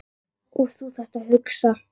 Og þú þarft að hugsa.